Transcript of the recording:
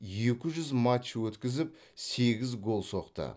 екі жүз матч өткізіп сегіз гол соқты